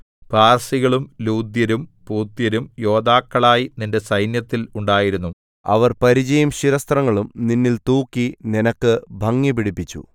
പാർസികളും ലൂദ്യരും പൂത്യരും യോദ്ധാക്കളായി നിന്റെ സൈന്യത്തിൽ ഉണ്ടായിരുന്നു അവർ പരിചയും ശിരസ്ത്രങ്ങളും നിന്നിൽ തൂക്കി നിനക്ക് ഭംഗിപിടിപ്പിച്ചു